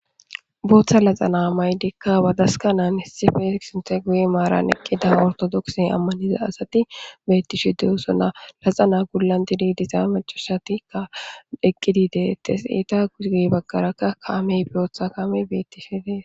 Booththa naxalaa maayidikka bathaskkanan issippe sinththa guye maaran eqqida orththodookisiya ammanida asathi beeththishe de7oosona; naxalaa bolla dideediza maccasathikka eqqidi deeththees; ethappe guyye baggaarakka kaamee booththa kaamee beeththishe de7ees.